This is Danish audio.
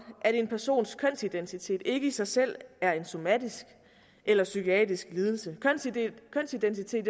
at en persons kønsidentitet ikke i sig selv er en somatisk eller psykisk lidelse kønsidentitet